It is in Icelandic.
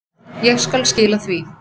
Ég skal skila því.